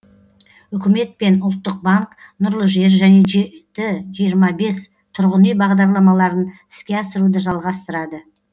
үкімет пен ұлттық банк нұрлы жер және жеті жиырма жиырма бес тұрғын үй бағдарламаларын іске асыруды жалғастырады